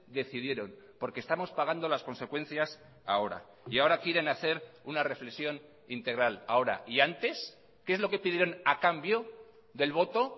decidieron porque estamos pagando las consecuencias ahora y ahora quieren hacer una reflexión integral ahora y antes qué es lo que pidieron a cambio del voto